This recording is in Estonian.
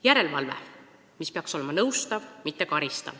Järelevalve, mis peaks olema nõustav, mitte karistav.